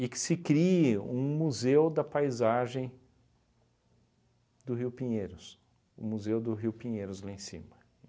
que se crie um museu da paisagem do rio Pinheiros, o museu do rio Pinheiros lá em cima.